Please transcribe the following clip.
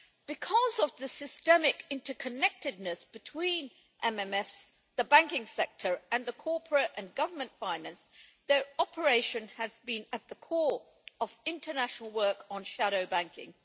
Because of the systemic inter connectedness between MMFs, the banking sector and corporate and government finance, their operation has been at the core of international work on shadow banking.